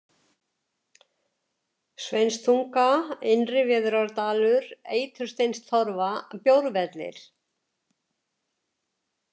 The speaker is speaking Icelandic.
Sveinstunga, Innri-Veðurárdalur, Eitursteinstorfa, Bjórvellir